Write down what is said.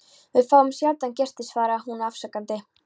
Við fáum sjaldan gesti svaraði hún afsakandi.